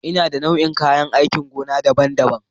Ina da nau'ikan kayan aikin gona daban-daban.